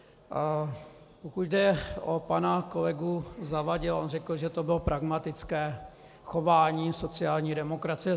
Pokud jde o pana kolegu Zavadila, on řekl, že to bylo pragmatické chování sociální demokracie.